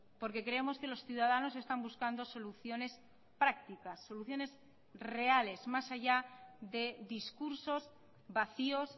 porque creemos que los ciudadanos están buscando soluciones prácticas soluciones reales más allá de discursos vacíos